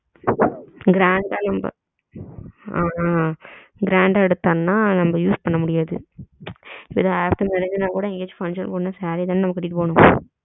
grand அஹ நம்ம ஆ ஆ grand எடுத்தோம்னா நம்ம use பண்ணா முடியாது ஓ சேரினா கூட எங்கியாச்சும் function போணும்னா சேரி தான கட்டிட்டு போகணும்.